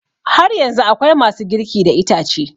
Har yanzu akwai ma su girki da itace